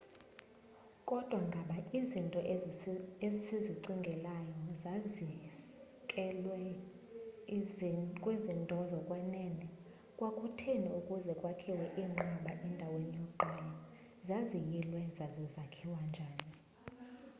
kodwa ngaba izinto esizicingelayo zisekelwe kwizinto zokwenene kwakutheni ukuze kwakhiwe iinqaba endaweni yokuqala zaziyilwe zaza zakhiwa njani